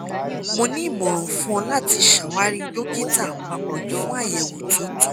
mo ni imọran fun ọ lati ṣawari dokita apapọ fun ayẹwo to tọ